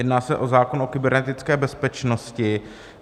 Jedná se o zákon o kybernetické bezpečnosti.